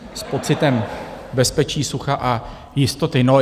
S pocitem bezpečí, sucha a jistoty.